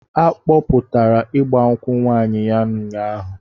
A kpọpụtara ịgba nkwụ nwaanyị ya ụnyaahụ.